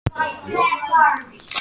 Mjög tvísýnt um úrslitin